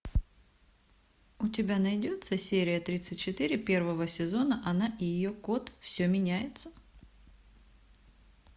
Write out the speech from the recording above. у тебя найдется серия тридцать четыре первого сезона она и ее кот все меняется